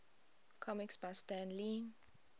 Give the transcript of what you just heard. comics by stan lee